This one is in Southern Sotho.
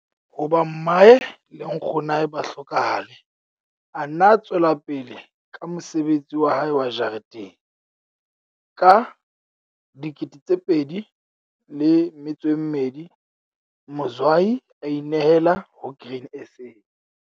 Hoba mmae le nkgonwae ba hlokahale a nna a tswela pele ka mosebetsi wa hae wa jareteng. Ka 2002 Mzwayi a inehela ho Grain SA.